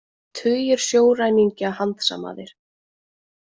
Tugir sjóræningja handsamaðir